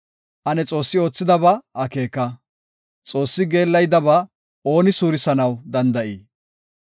Ane Xoossi oothidaba akeeka! Xoossi geellayidaba ooni suurisanaw danda7ii?